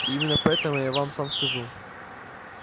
и именно поэтому я вам сам скажу